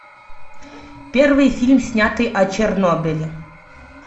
первый фильм снятый о чернобыле